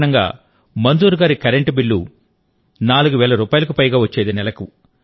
ఈ కారణంగా మంజూర్ గారి కరెంటు బిల్లు కూడా 4 వేల రూపాయలకు పైగా వచ్చేది